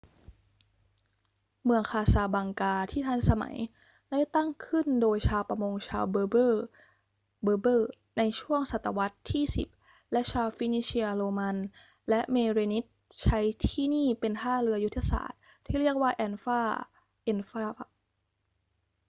เมืองคาซาบลังกาที่ทันสมัยได้ก่อตั้งขึ้นโดยชาวประมงชาวเบอร์เบอร์ berber ในช่วงศตวรรษที่ 10 และชาวฟินิเชีย โรมัน และเมเรนิดใช้ที่นี่เป็นท่าเรือยุทธศาสตร์ที่เรียกว่าแอนฟา anfa